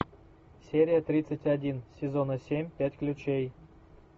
серия тридцать один сезона семь пять ключей